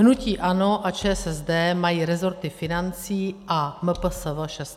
Hnutí ANO a ČSSD mají resorty financí a MPSV šest let.